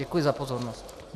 Děkuji za pozornost.